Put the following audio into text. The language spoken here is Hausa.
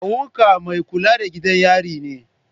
Kawu ka mai kula da gidan yari ne?